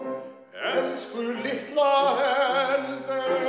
elsku litla Eldey